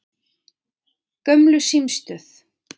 Gömlu símstöð